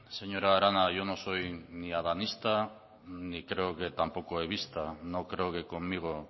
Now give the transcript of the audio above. señora arana yo no soy ni adanista ni creo que tampoco evista no creo que conmigo